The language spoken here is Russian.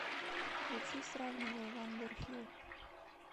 включи сравниваю вандер фил